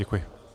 Děkuji.